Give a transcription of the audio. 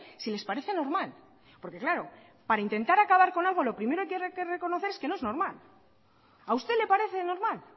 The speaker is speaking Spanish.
si les parece normal porque claro para intentar acabar con algo lo primero que hay que reconocer es que no es normal a usted le parece normal